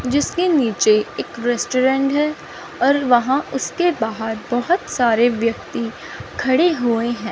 जिसके नीचे एक रेस्टोरेंट है और वहां उसके बाहर बहुत सारे व्यक्ति खड़े हुए हैं।